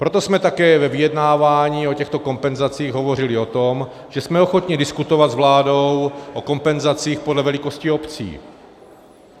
Proto jsme také ve vyjednávání o těchto kompenzacích hovořili o tom, že jsme ochotni diskutovat s vládou o kompenzacích podle velikosti obcí.